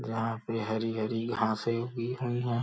यहां पर हरि हरि खांसी हुई हुई है।